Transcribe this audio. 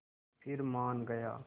फिर मान गया